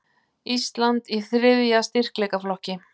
Ísland í þriðja styrkleikaflokki